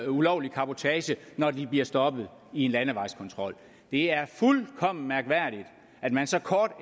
ulovlig cabotage når de bliver stoppet i en landevejskontrol det er fuldkommen mærkværdigt at man så kort